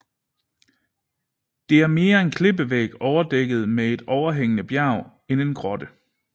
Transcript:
Det er mere en klippevæg overdækket med et overhængende bjerg end en grotte